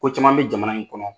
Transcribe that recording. Ko caman be jamana in kɔnɔ